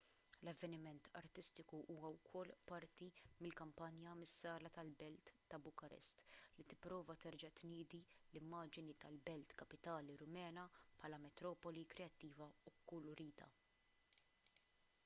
l-avveniment artistiku huwa wkoll parti minn kampanja mis-sala tal-belt ta' bukarest li tipprova terġa' tniedi l-immaġni tal-belt kapitali rumena bħala metropoli kreattiva u kkulurita